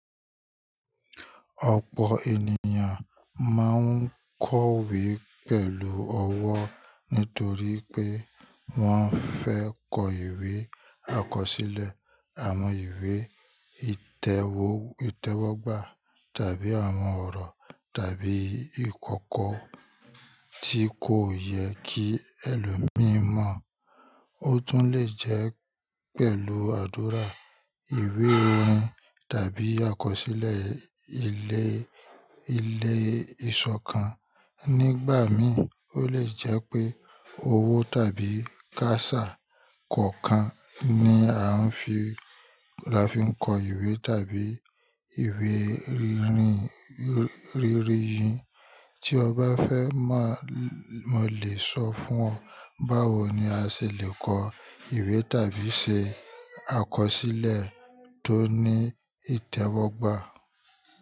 Ọ̀pọ̀ ènìyàn máa ń kọ ìwé pẹ̀lú ọwọ́ nítorí pé wọ́n fẹ́ kọ ìwé àkọsílẹ̀, àwọn ìwé ìtẹ́wọ́gbà tàbí àwọn ọ̀rọ̀ tàbí ìkọ̀kọ̀ tí kò yẹ kí ẹlòmíì mọ̀. Ó tún lè jẹ́ pẹ̀lú àdúrà, ìwé orin tàbí àkọsílẹ̀ ilé, ilé ìṣọ̀kan. Nígbà míi, ó lè jẹ́ pé owó tàbí kásà kọ̀ọ̀kan ni a fi ń kọ ìwé tàbí ìwé rírìyín. Tí ọ bá fẹ́ má, mo lè sọ fún ọ báwo ni a ṣì lè kọ ìwé tàbí se àkọsílẹ̀ tó ní ìtẹ́wọ́gbà.